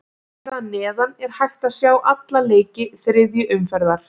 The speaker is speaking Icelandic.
Hér að neðan er hægt að sjá alla leiki þriðju umferðar.